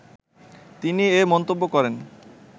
তিনি এ মন্তব্য করেন